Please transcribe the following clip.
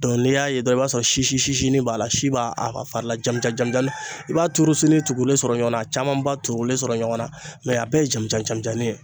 Dɔn n'i y'a ye dɔrɔn i b'a sɔrɔ sisisisinin b'a la, si b'a a ka fari la jamuja jamujani i b'a turusini tugulen sɔrɔ ɲɔɔn na a camanba turulen sɔrɔ ɲɔgɔn na a bɛɛ ye jamijan jamijanin ye.